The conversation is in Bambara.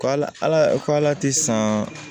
K'a la ala k'ala ti san